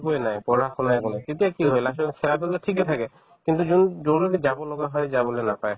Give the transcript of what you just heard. একোয়ে নাই পঢ়া-শুনা একো নাই তেতিয়া কি হয় last ত খেলাৰ পিনে ঠিকে থাকে কিন্তু যাব লগা হয় যাবলৈ নাপায়